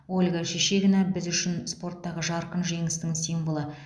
ольга шишигина біз үшін спорттағы жарқын жеңістің символы